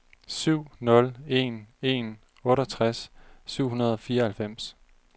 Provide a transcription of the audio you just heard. syv nul en en otteogtres syv hundrede og fireoghalvfems